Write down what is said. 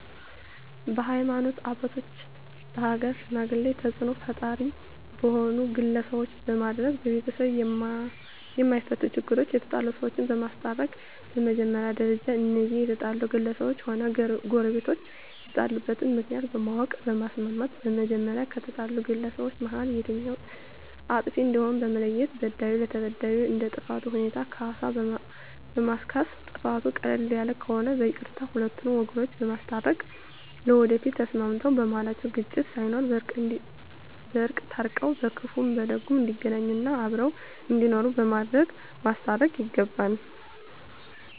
በሀይማኖት አባቶች በሀገር ሽማግሌ ተፅእኖ ፈጣሪ በሆኑ ግለሰቦች በማድረግ በቤተሰብ የማፈቱ ችግሮች የተጣሉ ሰዎችን በማስታረቅ በመጀመሪያ ደረጃ እነዚያ የተጣሉ ግለሰቦችም ሆነ ጎረቤቶች የተጣሉበትን ምክንያት በማወቅ በማስማማት በመጀመሪያ ከተጣሉት ግለሰቦች መሀል የትኛዉ አጥፊ እንደሆነ በመለየት በዳዩ ለተበዳዩ እንደ ጥፋቱ ሁኔታ ካሳ በማስካስ ጥፋቱ ቀለል ያለ ከሆነ በይቅርታ ሁለቱን ወገኖች በማስታረቅ ለወደፊቱ ተስማምተዉ በመሀላቸዉ ግጭት ሳይኖር በእርቅ ታርቀዉ በክፉም በደጉም እንዲገናኙ እና አብረዉ እንዲኖሩ በማድረግ ማስታረቅ ይገባል